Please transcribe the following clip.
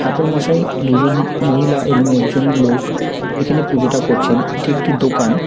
ঠাকুরমশাই দুজন মহিলা এবং একজন লোক এখানে পুজোটা করছেন এটি একটি দোকান।